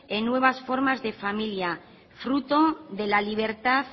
en nuevas formas de familia fruto de la libertad